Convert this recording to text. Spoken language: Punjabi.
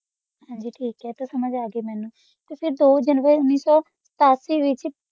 ਆਸ ਵਾਸਤਾ ਦੋ ਦਾਨ ਦੋ ਜਾਨੁਆਰੀ ਚ ਅਥਾਰ ਸੋ ਸੰਤਾਲੀ ਚ ਹੋਆ ਸੀ